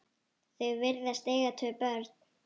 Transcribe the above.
Þau virðast eiga tvö börn.